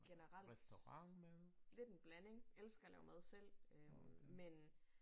Generelt lidt en blanding. Elsker at lave mad selv øh men